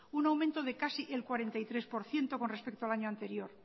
un aumento de casi el cuarenta y tres por ciento con respecto al año anterior